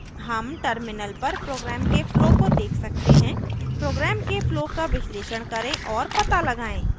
हम terminal पर program के flow को देख सकते हैं program के flow का विश्लेषण करें और पता लगाएँ